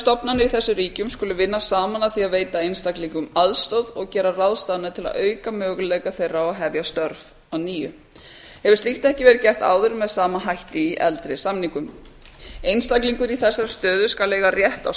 í þessum ríkjum skulu vinna saman að því að veita einstaklingum aðstoð og gera ráðstafanir til að auka möguleika þeirra á að hefja störf að nýju hefur slíkt ekki verið gert áður með sama hætti í eldri samningum einstaklingur í þessari stöðu skal eiga rétt á